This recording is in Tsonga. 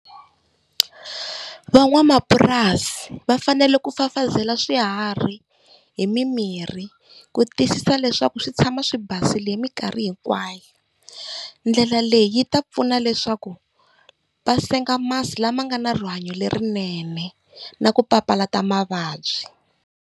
Van'wamapurasi va fanele ku fafazela swiharhi hi mimirhi, ku tiyisisa leswaku swi tshama swi basile hi mikarhi hinkwayo. Ndlela leyi yi ta pfuna leswaku va senga masi lama nga na rihanyo lerinene na ku papalata mavabyi.